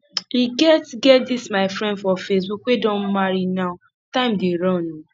e get get dis my friend for facebook wey don marry now time dey run oo